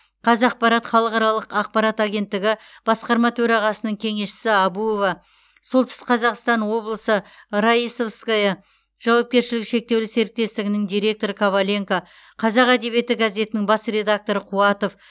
қазапарат халықаралық ақпарат агенттігі басқарма төрағасының кеңесшісі әбуова солтүстік қазақстан облысы раисовское жауапкершілігі шектеулі сеоіктестігінің директоры коваленко қазақ әдебиеті газетінің бас редакторы қуатов